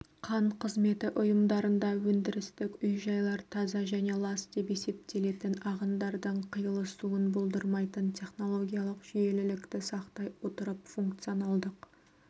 қан қызметі ұйымдарында өндірістік үй-жайлар таза және лас деп есептелетін ағындардың қиылысуын болдырмайтын технологиялық жүйелілікті сақтай отырып функционалдық